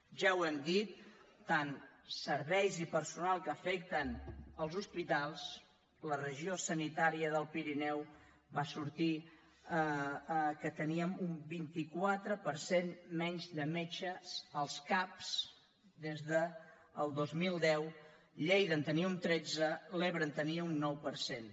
ja ho hem dit tant serveis i personal que afecten els hospitals la regió sanitària del pirineu va sortir que teníem un vint quatre per cent menys de metges als cap des del dos mil deu lleida en tenia un tretze l’ebre en tenia un nou per cent